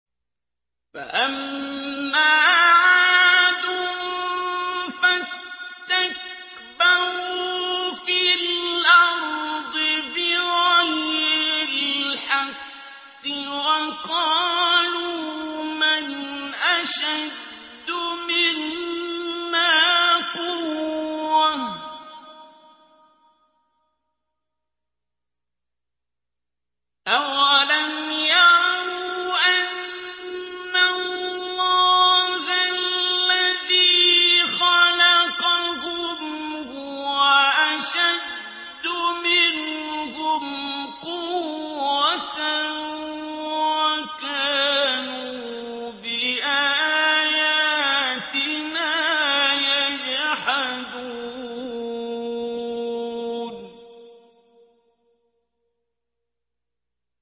فَأَمَّا عَادٌ فَاسْتَكْبَرُوا فِي الْأَرْضِ بِغَيْرِ الْحَقِّ وَقَالُوا مَنْ أَشَدُّ مِنَّا قُوَّةً ۖ أَوَلَمْ يَرَوْا أَنَّ اللَّهَ الَّذِي خَلَقَهُمْ هُوَ أَشَدُّ مِنْهُمْ قُوَّةً ۖ وَكَانُوا بِآيَاتِنَا يَجْحَدُونَ